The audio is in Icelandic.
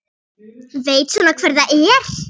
Veit svona hver það er.